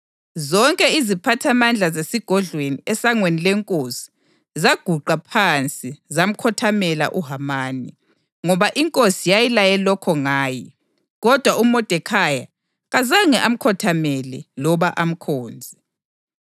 Zonke iziphathamandla zesigodlweni esangweni lenkosi zaguqa phansi zamkhothamela uHamani, ngoba inkosi yayilaye lokho ngaye. Kodwa uModekhayi kazange amkhothamele loba amkhonze.